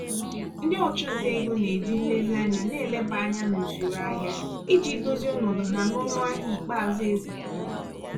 ndị ọchụnta ego na-eji nlezianya na-eleba anya n'usoro ahịa iji dozie ọnọdụ ha n'ọnụahịa ikpeazụ ekwpụtara.